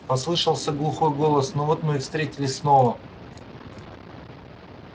послышался глухой голос ну вот мы и встретились снова